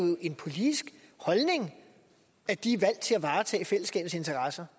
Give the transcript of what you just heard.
jo en politisk holdning at de er valgt til at varetage fællesskabets interesser